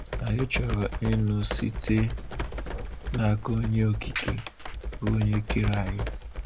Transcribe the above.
Anyị chọrọ ịnụ site n’aka Onye Okike, bụ Onye kere anyị.